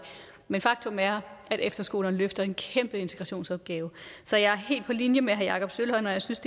men faktum er at efterskolerne løfter en kæmpe integratioensopgave så jeg er helt på linje med herre jakob sølvhøj når jeg synes